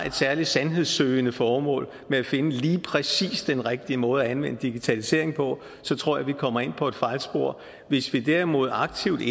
et særligt sandhedssøgende formål med at finde lige præcis den rigtige måde at anvende digitaliseringen på så tror jeg vi kommer ind på et fejlspor hvis vi derimod aktivt